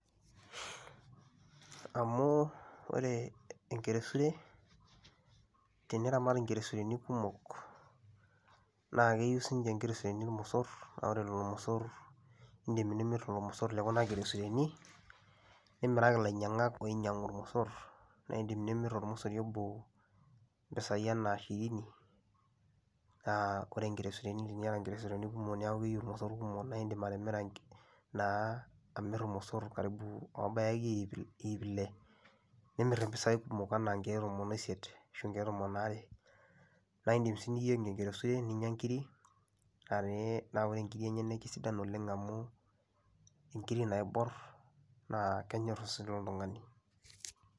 Amu ore enkeresure, teniramat nkeresureni kumok naake eyiu siinche nkeresureni irmosor naa ore lelo mosor iindim nimir lelo mosor le kuna keresureni, nimiraki ilainyang'ak oinyang'u irmosor naa iindim nimir ormosori obo mpisai enaa hirini naa ore nkeresureni teniyata nkeresureni kumok neeku keyiu irmosor kumok nae iindim atimira nk naa amir irmosor oobaya akeyie ip il iip ile nimir mpisai kumok enaa nkeek tomon o isiet ashu nkeek tomon are, naa iindim sii niyeng' enkeresure ninya nkirik aa pee naa ore nkiri enyenak naa kesidan oleng' amu inkiri naibor naa kenyor osesen loltung'ani.